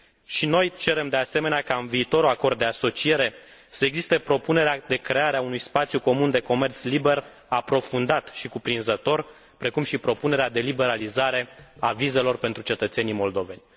Și noi cerem, de asemenea, ca în viitorul acord de asociere să existe propunerea de creare a unui spațiu comun de comerț liber, aprofundat și cuprinzător, precum și propunerea de liberalizare a vizelor pentru cetățenii moldoveni.